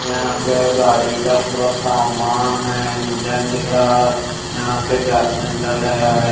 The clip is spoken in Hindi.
यहाँ पर गाडीक पूरा सामान है इंजन दिख रहा यहाँ पर --